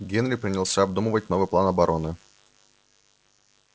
генри принялся обдумывать новый план обороны